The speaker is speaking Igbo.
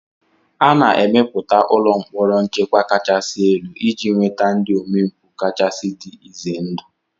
A na-emepụta ụlọ mkpọrọ nchekwa kachasị elu iji nweta ndị omempụ kachasị dị ize ndụ